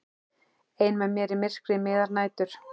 Ein með mér í myrkri miðrar nætur.